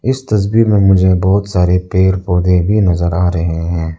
इस तस्वीर में मुझे बहुत सारे पेड़ पौधे भी नजर आ रहे हैं।